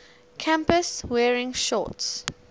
campus wearing shorts